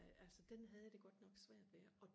øh altså den havde jeg det godt nok svært ved og